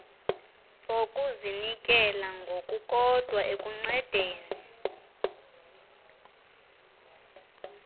zokuzinikela ngokukodwa ekuncedeni